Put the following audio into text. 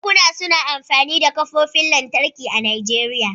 Banki suna amfani da ƙofofin lantarki a Najeriya.